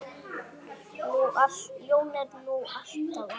Jón er nú alltaf